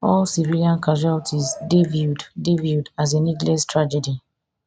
all civilians casualties dey viewed dey viewed as a needless tragedy